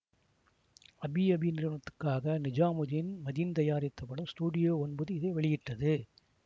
அபி அபி நிறுவனத்துக்காக நிஜாமுதீன் மதீன் தயாரித்த படம் ஸ்டுடியோ ஒன்பது இதை வெளியிட்டது